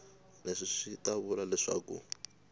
leswi swi ta vula leswaku